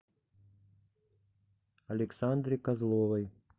александре козловой